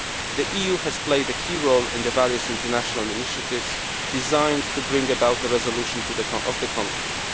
The EU has played a key role in the various international initiatives designed to bring about a resolution of the conflict.